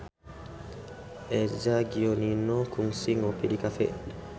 Eza Gionino kungsi ngopi di cafe